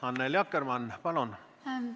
Annely Akkermann, palun!